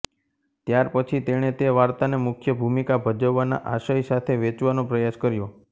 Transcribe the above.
ત્યાર પછી તેણે તે વાર્તાને મુખ્ય ભૂમિકા ભજવવાના આશય સાથે વેચવાનો પ્રયાસ કર્યો